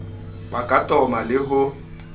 ka ba toma le ho